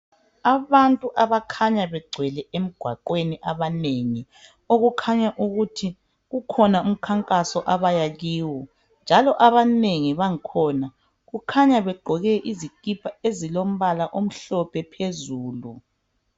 Abantu abakhanya begcwele emgwaqweni abanengi okukhanya ukuthi kukhona umkhankaso abaya kiwo njalo abanengi bangkhona kukhanya begqoke izikipha ezilombala omhlophe phezulu